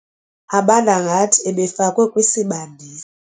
abanda ngathi ebefakwe kwisibandisi.